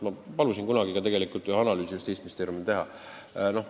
Ma palusin kunagi Justiitsministeeriumil ühe analüüsi teha.